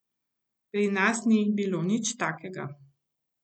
Pri nas ni bilo nič takega.